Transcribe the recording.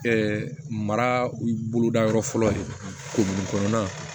mara boloda yɔrɔ fɔlɔ de kogoni kɔnɔna na